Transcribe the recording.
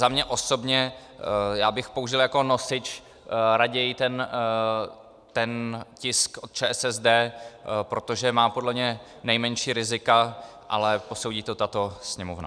Za mě osobně, já bych použil jako nosič raději ten tisk od ČSSD, protože má podle mě nejmenší rizika, ale posoudí to tato Sněmovna.